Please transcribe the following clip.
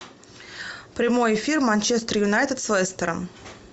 прямой эфир манчестер юнайтед с лестером